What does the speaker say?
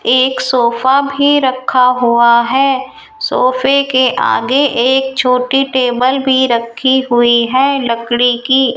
एक सोफा भी रखा हुआ है सोफे के आगे एक छोटी टेबल भी रखी हुई है लकड़ी की।